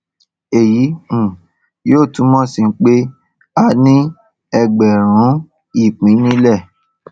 èyí um yóò túmọ sí pé a ní ẹgbààrún ìpín nílẹ